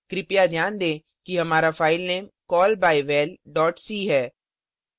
कृपया ध्यान दें हमारा फाइलनाम callbyval c है